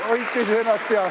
Hoidke siis ennast.